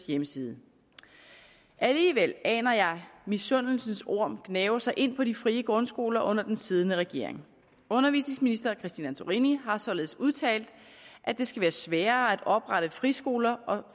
hjemmeside alligevel aner jeg misundelsens orm gnave sig ind på de frie grundskoler under den siddende regering undervisningsministeren har således udtalt at det skal være sværere at oprette friskoler og